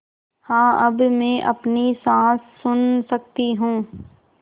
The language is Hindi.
हाँ अब मैं अपनी साँस सुन सकती हूँ